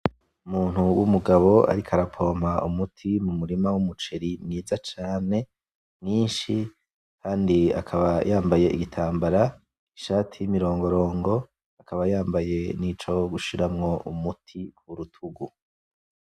Umuntu w'umugabo ariko arapoma umuti mu murima w'umuceri mwiza cane, mwinshi kandi akaba yambaye igitambara. Ishati y'imirongorongo akaba yambaye nico gushiramwo umuti ku rutugu.